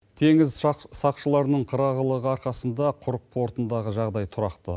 теңіз сақшыларының қырағылығы арқасында құрық портындағы жағдай тұрақты